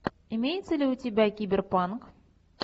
имеется ли у тебя киберпанк